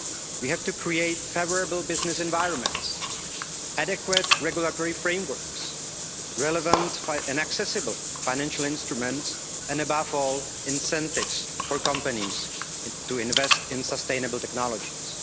We have to create favourable business environments, adequate regulatory frameworks, relevant and accessible financial instruments, and above all, incentives for companies to invest in sustainable technologies.